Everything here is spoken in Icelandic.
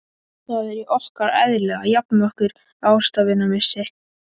Það er í okkar eðli að jafna okkur á ástvinamissi.